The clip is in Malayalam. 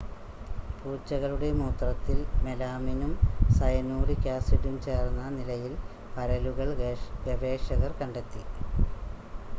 പൂച്ചകളുടെ മൂത്രത്തിൽ മെലാമിനും സയനൂറിക് ആസിഡും ചേർന്ന നിലയിൽ പരലുകൾ ഗവേഷകർ കണ്ടെത്തി